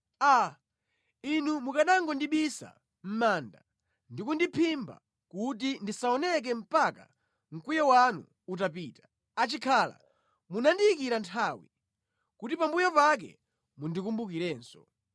“Aa, Inu mukanangondibisa mʼmanda ndi kundiphimba kuti ndisaoneke mpaka mkwiyo wanu utapita! Achikhala munandiyikira nthawi, kuti pambuyo pake mundikumbukirenso.